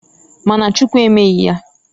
Ma na Chukwu emeghi ya.